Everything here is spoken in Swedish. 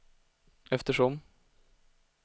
eftersom